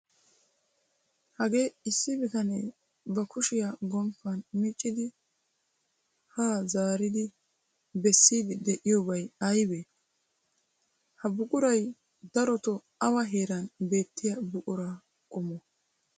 Hagee issi bitanee ba kushiya gomppan miccidi haa zaaridi bessiiddi de'iyobay aybee? Ha buquray darotoo awa heeran beettiya buqura qommoo?